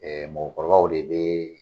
mɔkɔkɔrɔbaw de bi